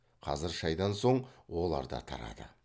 қазір шайдан соң олар да тарады